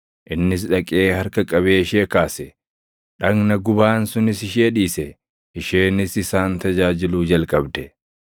Innis dhaqee harka qabee ishee kaase. Dhagna gubaan sunis ishee dhiise; isheenis isaan tajaajiluu jalqabde.